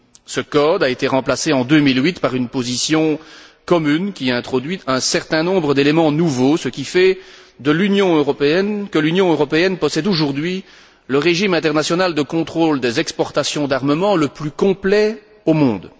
Ce code a été remplacé en 2008 par une position commune qui introduit un certain nombre d'éléments nouveaux, ce qui fait que l'Union européenne possède aujourd'hui le régime international de contrôle des exportations d'armements le plus complet au monde.